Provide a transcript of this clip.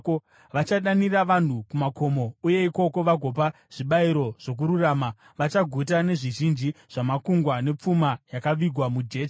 Vachadanira vanhu kumakomo uye ikoko vagopa zvibayiro zvokururama; vachaguta nezvizhinji zvamakungwa, nepfuma yakavigwa mujecha.”